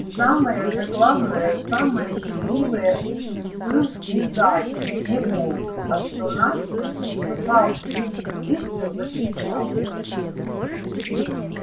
самое же главное самое счастливое был не заяц не волк а что настя услыхав близкий выстрел закричала